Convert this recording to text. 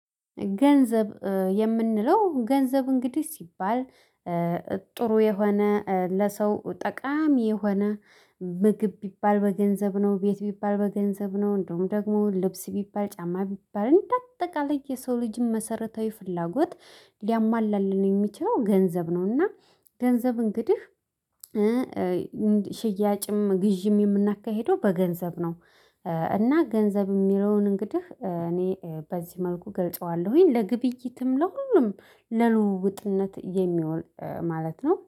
ገንዘብ የምንለው ገንዘብ እንግዲህ ሲባል። ጥሩ የሆነ ለሰው ጠቃሚ የሆነ ምግብ ቢባል በገንዘብ ነው ቤት ቢባል በገንዘብ ነው እንደውም ደግሞ ልብስ ቢባል ጫማ ቢባል እንደ አጠቃላይ የሰው ልጅም መሰረታዊ ፍላጎት ሊያሟላልን የሚችለው ገንዘብ ነው። እና ገንዘብ እንግዲህ ሽያጭም ግዢም የምናካሂደው በገንዘብ ነው። እና ገንዘብ የሚለውን እንግዲህ እኔ በዚህ መልኩ ገልጸዋለሁኝ ለግብይትም ለሁሉም ለልውውጥነት የሚሆን ማለት ነው